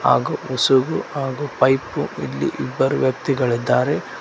ಹಾಗು ಉಸುಗು ಹಾಗು ಪೈಪು ಇಲ್ಲಿ ಇಬ್ಬರು ವ್ಯಕ್ತಿಗಳಿದ್ದಾರೆ.